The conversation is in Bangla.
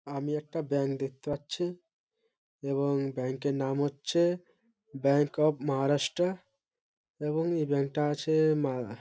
আমি একটা ব্যাঙ্ক দেখতে পাচ্ছি এবং এই ব্যাংক -এর নাম হচ্ছে ব্যাঙ্ক অফ মহারাষ্ট্র এবং এই ব্যাংক -টা আছে মা--